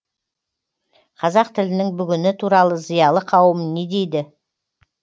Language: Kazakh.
қазақ тілінің бүгіні туралы зиялы қауым не дейді